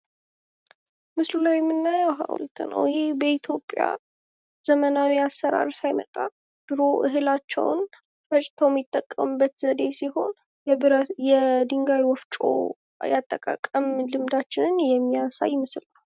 ምስሉ ላይ የምናየው ሃውልት ነው ። ይሄ በኢትዮጵያ ዘመናዊ አሰራር ሳይመጣ ድሮ እህላቸውን ፈጭተው የሚጠቀሙበት ዘዴ ሲሆን የድንጋይ ወፍጮ የአጠቃቀም ልምዳችንን የሚያሳይ ምስል ነው ።